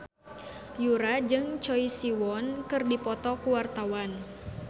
Yura jeung Choi Siwon keur dipoto ku wartawan